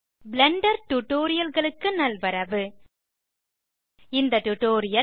Blender Tutorialகளுக்கு நல்வரவு இந்த டியூட்டோரியல்